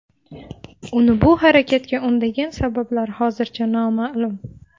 Uni bu harakatga undagan sabablar hozircha noma’lum.